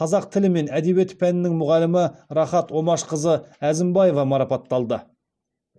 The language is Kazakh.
қазақ тілі мен әдебиеті пәнінің мұғалімі рахат омашқызы әзімбаева марапатталды